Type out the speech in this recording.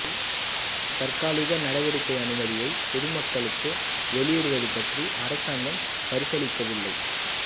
தற்காலிக நடவடிக்கை அனுமதியை பொது மக்களுக்கு வெளியிடுவது பற்றி அரசாங்கம் பரிசீலிக்கவில்லை